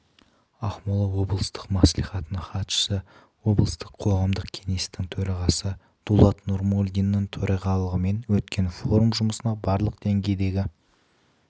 ақмола облыстық мәслихатының хатшысы облыстық қоғамдық кеңестің төрағасы дулат нұрмолдиннің төрағалығымен өткен форум жұмысына барлық деңгейдегі